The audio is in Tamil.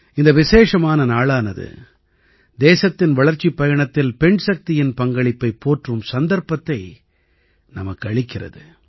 இந்த விசேஷமான நாளானது தேசத்தின் வளர்ச்சிப் பயணத்தில் பெண்சக்தியின் பங்களிப்பைப் போற்றும் சந்தர்ப்பத்தை நமக்கு அளிக்கிறது